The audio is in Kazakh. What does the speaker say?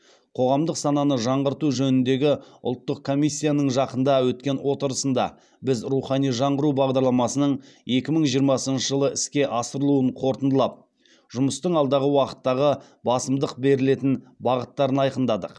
қоғамдық сананы жаңғырту жөніндегі ұлттық комиссияның жақында өткен отырысында біз рухани жаңғыру бағдарламасының екі мың жиырмасыншы жылы іске асырылуын қорытындылап жұмыстың алдағы уақыттағы басымдық берілетін бағыттарын айқындадық